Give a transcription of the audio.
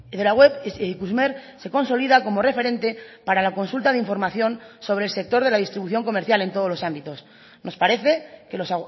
de la web ikusmer se consolida como referente para la consulta de información sobre el sector de la distribución comercial en todos los ámbitos nos parece que los